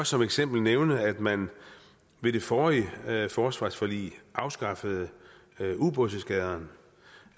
som eksempel nævne at man med det forrige forsvarsforlig afskaffede ubådseskadrerne